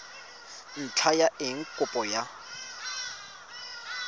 ntlha ya eng kopo ya